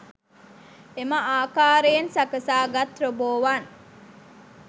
එම ආකාරයෙන් සකසාගත් රොබෝවන්